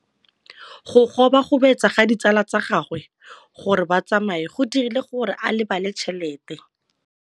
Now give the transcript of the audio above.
Go gobagobetsa ga ditsala tsa gagwe, gore ba tsamaye go dirile gore a lebale tšhelete.